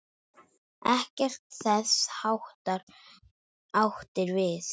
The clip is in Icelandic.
Ekkert þess háttar átti við.